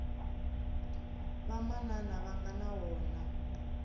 vamanana va nga na wona